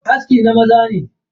Aski na maza ne.